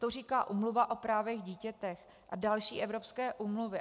To říká Úmluva o právech dítěte a další evropské úmluvy.